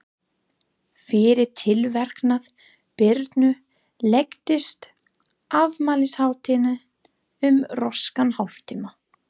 Fyrir tilverknað Birnu lengdist afmælishátíðin um röskan hálftíma.